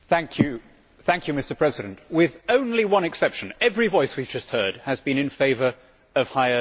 Mr President, with only one exception, every voice we have just heard has been in favour of higher spending.